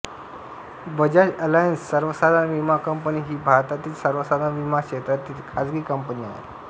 Bajaj Allianz सर्वसाधारण विमा company ही भारतातली सर्वसाधारण विमा क्षेत्रातील खाजगी कंपनी आहे